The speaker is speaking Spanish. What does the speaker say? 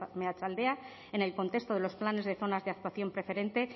meatzaldea en el contexto de los planes de zonas de actuación preferente